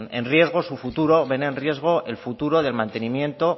en riesgo su futuro ven en riesgo el futuro del mantenimiento